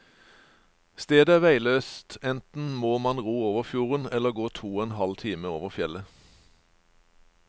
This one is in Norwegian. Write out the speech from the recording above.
Stedet er veiløst, enten må man ro over fjorden eller gå to og en halv time over fjellet.